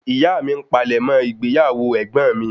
Ìyá mí n palẹ̀mọ́ ìgbéyàwó egbon mi